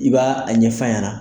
I b'a a ɲɛfaɲɛna.